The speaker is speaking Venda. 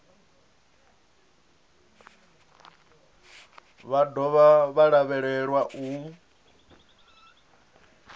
vha dovha vha lavhelelwa u